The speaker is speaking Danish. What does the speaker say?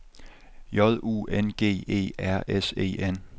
J U N G E R S E N